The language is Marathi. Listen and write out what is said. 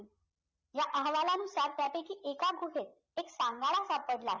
ह्या अहवालानुसार त्यापैकी एका गुहेत एक सांगाडा सापडला आहे